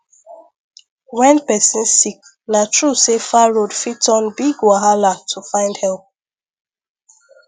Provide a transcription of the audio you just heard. when person sick na true say far road fit turn big wahala to find help